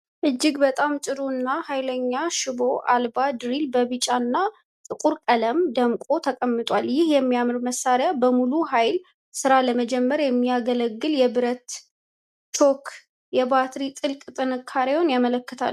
እጅግ በጣም ጥሩ እና ኃይለኛ ሽቦ አልባ ድሪል በቢጫና ጥቁር ቀለማት ደምቆ ተቀምጧል። ይህ የሚያምር መሣሪያ በሙሉ ኃይል ሥራ ለመጀመር የምያገለግል የብረታ ብረት ቾክና የባትሪ ጥቅል ጥንካሬውን ያመለክታሉ።